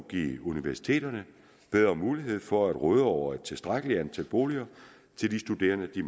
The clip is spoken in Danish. give universiteterne bedre mulighed for at råde over et tilstrækkeligt antal boliger til de studerende de